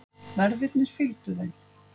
Verðirnir fylgdu þeim.